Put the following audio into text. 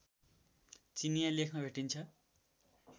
चिनियाँ लेखमा भेटिन्छ